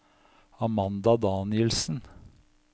Amanda Danielsen